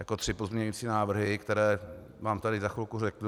Jako tři pozměňující návrhy, které vám tady za chvilku řeknu.